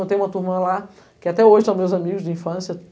Eu tenho uma turma lá que até hoje são meus amigos de infância.